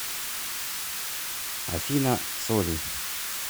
афина соли